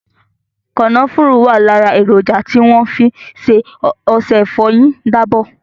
Kànáfùrù wà lára èròjà tí wọ́n fi ṣe ọṣẹ ìfọyín dábọ̀.